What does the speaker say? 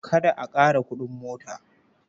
Kada a ƙara kuɗin mota.